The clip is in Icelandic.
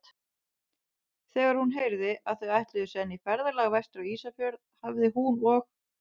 Þegar hún heyrði, að þau ætluðu senn í ferðalag vestur á Ísafjörð, hafi hún og